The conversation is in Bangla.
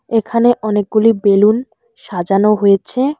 এখানে অনেকগুলি বেলুন সাজানো হয়েছে।